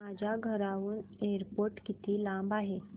माझ्या घराहून एअरपोर्ट किती लांब आहे